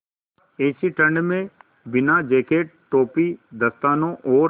ऐसी ठण्ड में बिना जेकेट टोपी दस्तानों और